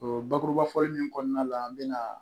O bakurubafɔli in kɔnɔna la an bɛ na